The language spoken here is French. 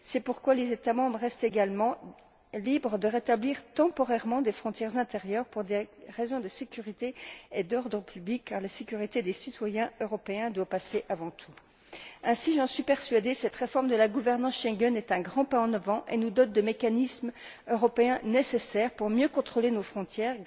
C'est pourquoi les États membres restent également libres de rétablir temporairement des frontières intérieures pour des raisons de sécurité et d'ordre public, car la sécurité des citoyens européens doit passer avant tout. Ainsi, j'en suis persuadée, cette réforme de la gouvernance Schengen est un grand pas en avant et nous dote de mécanismes européens nécessaires pour mieux contrôler nos frontières.